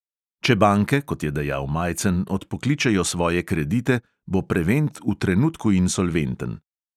Če banke, kot je dejal majcen, odpokličejo svoje kredite, bo prevent v trenutku insolventen.